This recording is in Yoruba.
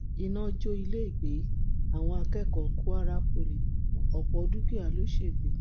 iná jó ilégbèé àwọn akẹkọọ kwara poli ọpọ dúkìá lọ ṣègbè